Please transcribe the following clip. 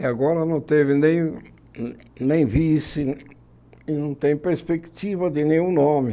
E agora não teve nem nem vice e não tem perspectiva de nenhum nome.